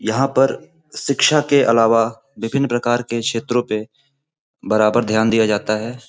यहां पर शिक्षा के अलावा विभिन्न प्रकार के क्षेत्रों पर बराबर ध्यान दिया जाता है।